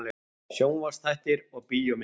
SJÓNVARPSÞÆTTIR OG BÍÓMYNDIR